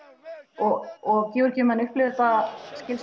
og og Georgíumenn upplifa þetta